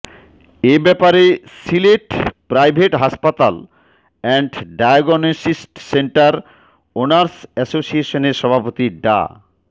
এ ব্যাপারে সিলেট প্রাইভেট হাসপাতাল and diagnostic centre owners এসোসিয়েশনের সভাপতি ডা